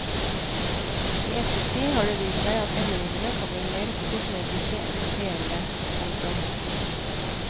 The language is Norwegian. I ettertid har det vist seg at endringene kan bli mer kosmetiske enn reelle. punktum